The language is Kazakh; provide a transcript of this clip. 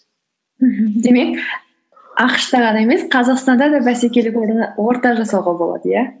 мхм демек ақш та ғана емес қазақстанда да бәсекелі орта жасауға болады иә